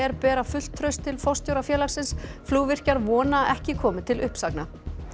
bera fullt traust til forstjóra félagsins flugvirkjar vona að ekki komi til uppsagna